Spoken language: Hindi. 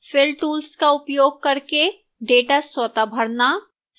fill tools का उपयोग करके data स्वतः भरना